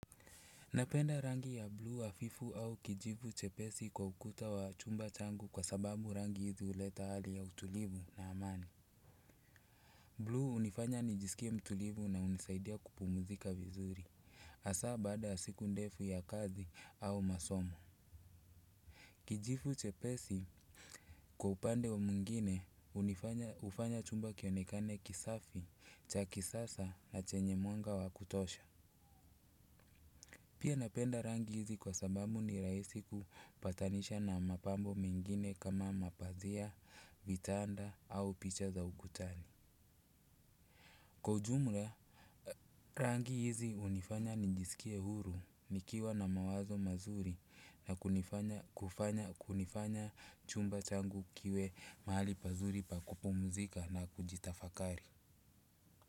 Napenda rangi ya bluu hafifu au kijivu chepesi kwa ukuta wa chumba changu kwa sababu rangi hizi huleta hali ya utulivu na amani. Bluu hunifanya nijisikie mtulivu na hunisaidia kupumzika vizuri hasa baada ya siku ndefu ya kazi au masomo kijivu chepesi kwa upande mwingine hufanya chumba kionekane kisafi cha kisasa na chenye mwanga wa kutosha. Pia napenda rangi hizi kwa sababu ni rahisi kupatanisha na mapambo mengine kama mapazia, vitanda au picha za ukutani. Kwa ujumla rangi hizi hunifanya nijisikie huru nikiwa na mawazo mazuri na kunifanya chumba changu kiwe mahali pazuri pa kumpumzika na kutafakari.